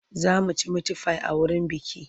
Za mu ci mitifai a wurin bukih.